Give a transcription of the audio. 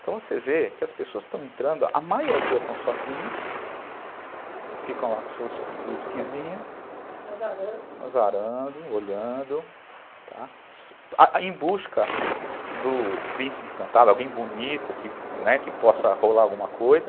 Então você vê que as pessoas que estão entrando, a maioria estão sozinhas, ficam lá com o seu whiskyzinho, azarando, olhando, tá, em busca do príncipe encantado, alguém bonito, que possa rolar alguma coisa.